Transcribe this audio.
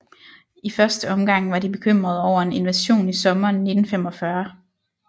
I første omgang var de bekymrede over en invasion i sommeren 1945